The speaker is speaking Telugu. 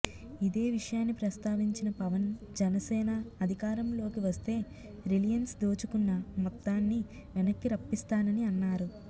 ఇదే విషయాన్ని ప్రస్తావించిన పవన్ జనసేన అధికారంలోకి వస్తే రిలయన్స్ దోచుకున్న మొత్తాన్ని వెనక్కి రప్పిస్తానని అన్నారు